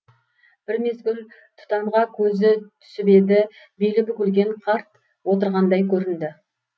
бір мезгіл тұтанға көзі түсіп еді белі бүгілген қарт отырғандай көрінді